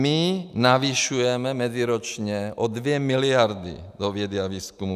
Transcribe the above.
My navyšujeme meziročně o 2 miliardy do vědy a výzkumu.